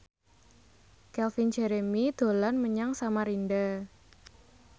Calvin Jeremy dolan menyang Samarinda